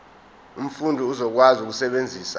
umfundi uzokwazi ukusebenzisa